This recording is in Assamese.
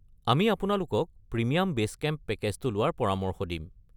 আমি আপোনালোকক প্ৰিমিয়াম বে’ছ কেম্প পেকে'জটো লোৱাৰ পৰামৰ্শ দিম।